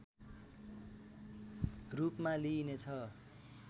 रूपमा लिइनेछ